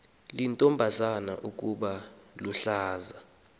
liyintombazana ukuba luhlaza